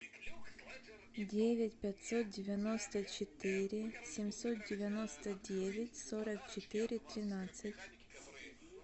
девять пятьсот девяносто четыре семьсот девяносто девять сорок четыре тринадцать